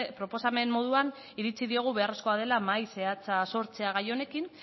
proposamen moduan iritsi diogu beharrezkoa dela mahai zehatza sortze gai honekin